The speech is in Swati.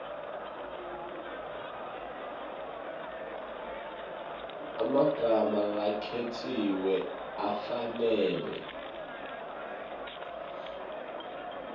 emagama lakhetsiwe afanele